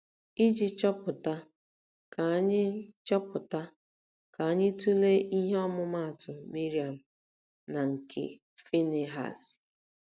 Iji chọpụta, ka anyị chọpụta, ka anyị tụlee ihe ọmụmaatụ Miriam na nke Finihas.